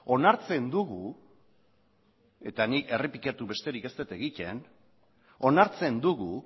onartzen dugu eta nik errepikatu besterik ez dut egiten onartzen dugu